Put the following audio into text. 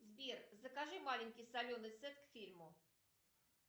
сбер закажи маленький соленый сет к фильму